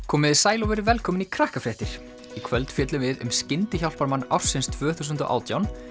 komiði sæl og verið velkomin í í kvöld fjöllum við um skyndihjálparmann ársins tvö þúsund og átján